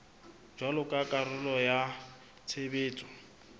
jwalo ka karolo ya tshebetso